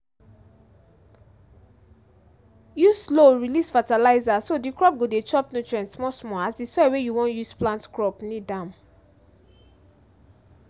use slow-release fertilizer so the crop go dey chop nutrient small-small as di soil wey you wan use plant crop need am